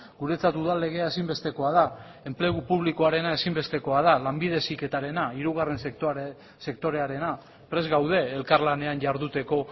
guretzat udal legea ezinbestekoa da enplegu publikoarena ezinbestekoa da lanbide heziketarena hirugarren sektorearena prest gaude elkarlanean jarduteko